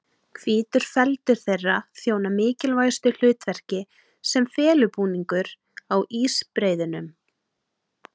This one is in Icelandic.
Hvítur feldur þeirra þjónar mikilvægu hlutverki sem felubúningur á ísbreiðunum.